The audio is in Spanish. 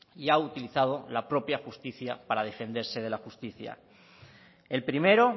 y ha utilizado la propia justicia para defenderse de la justicia el primero